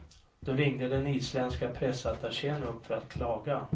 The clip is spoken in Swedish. Då ringde den isländska pressattachén upp för att klaga.